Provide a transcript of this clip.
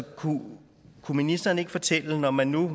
kunne ministeren ikke fortælle når man nu